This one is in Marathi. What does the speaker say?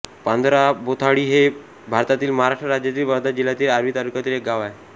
पांजराबोथाळी हे भारतातील महाराष्ट्र राज्यातील वर्धा जिल्ह्यातील आर्वी तालुक्यातील एक गाव आहे